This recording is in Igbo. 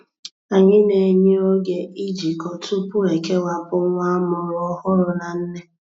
Anyị na-enye oge ijikọ tupu ekewapụ nwa amụrụ ọhụrụ na nne.